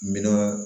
Minan